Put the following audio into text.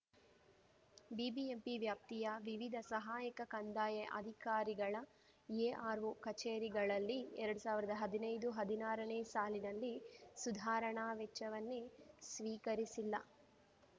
BBMP ವ್ಯಾಪ್ತಿಯ ವಿವಿಧ ಸಹಾಯಕ ಕಂದಾಯ ಅಧಿಕಾರಿಗಳ ಎಆರ್‌ಒ ಕಚೇರಿಗಳಲ್ಲಿ ಎರಡು ಸಾವಿರದ ಹದಿನೈದುಹದಿನಾರನೇ ಸಾಲಿನಲ್ಲಿ ಸುಧಾರಣಾ ವೆಚ್ಚವನ್ನೇ ಸ್ವೀಕರಿಸಿಲ್ಲ